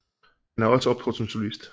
Han har også optrådt som solist